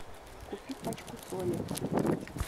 купи пачку соли